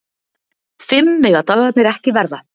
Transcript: Fimm mega dagarnir ekki verða.